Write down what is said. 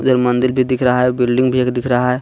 उधर मंदिर भी दिख रहा है बिल्डिंग भी एक दिख रहा है.